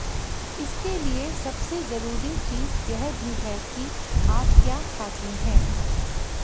इसके लिए सबसे जरुरी चीज यह भी है कि आप क्या खाते है